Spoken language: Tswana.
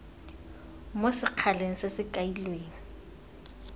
mo sekgaleng se se kailweng